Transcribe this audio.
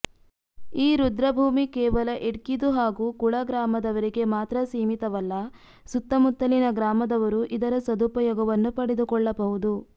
ಈ ರುದ್ರಭೂಮಿ ಕೇವಲ ಇಡ್ಕಿದು ಹಾಗು ಕುಳ ಗ್ರಾಮದವರಿಗೆ ಮಾತ್ರ ಸೀಮಿತವಲ್ಲ ಸುತ್ತ ಮುತ್ತಲಿನ ಗ್ರಾಮದವರೂ ಇದರ ಸದುಪಯೋಗವನ್ನು ಪಡೆದುಕೊಳ್ಳಬಹುದು